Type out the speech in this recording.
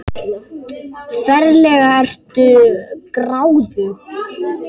Ferlega ertu gráðug!